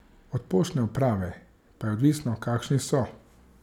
Od poštne uprave pa je odvisno, kakšni so.